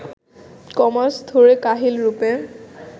কমাস ধরে কাহিল রূপে